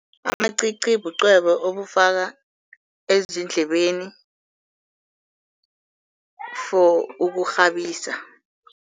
Amacici bucwebe obufakwa ezindlebeni for ukurhabisa.